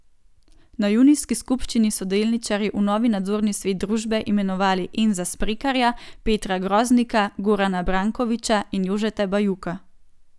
Na junijski skupščini so delničarji v nov nadzorni svet družbe imenovali Enza Smrekarja, Petra Groznika, Gorana Brankoviča in Jožeta Bajuka.